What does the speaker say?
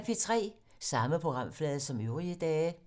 Samme programflade som øvrige dage